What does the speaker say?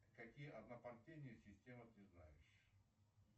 какие однопартийные системы ты знаешь